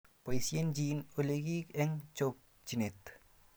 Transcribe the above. Boisiechin olikyik eng chokchinet